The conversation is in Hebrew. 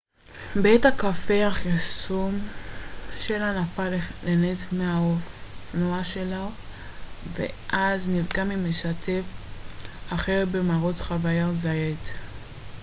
בעת הקפת החימום שלו נפל לנץ מהאופנוע שלו ואז נפגע ממשתתף אחר במרוץ חאבייר זאייט